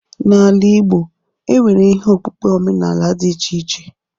N'ala igbo, e nwere ihe okpukpe omenaala dị iche iche.